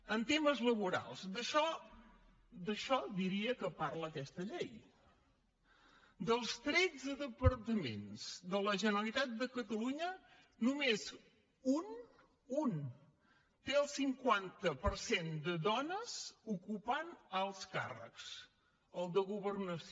en temes laborals d’això diria que parla aquesta llei dels tretze departaments de la generalitat de catalunya només un un té el cinquanta per cent de dones ocupant alts càrrecs el de governació